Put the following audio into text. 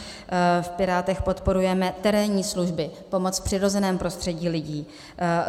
V Pirátech podporujeme terénní služby, pomoc v přirozeném prostředí lidí.